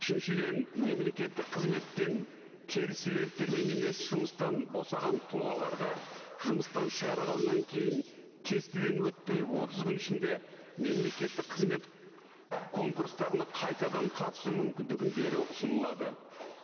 үшіншіден мемлекеттік қызметтен теріс себептермен емес жұмыстан босаған тұлғаларға жұмыстан шығарылғаннан кейін тестіден өтпей отыз күн ішінде мемлекеттік қызмет конкурстарына қайтадан қатысу мүмкіндігін беру ұсынылады